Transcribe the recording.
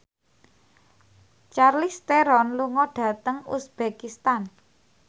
Charlize Theron lunga dhateng uzbekistan